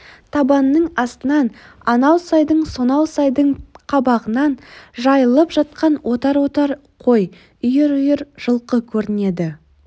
табанның астынан анау сайдың сонау сайдың қабағынан жайылып жатқан отар-отар қой үйір-үйір жылқы көрінеді